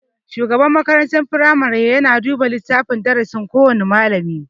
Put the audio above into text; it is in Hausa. Shugaban makarantar firamare yana duba littafin darasin kowana malami.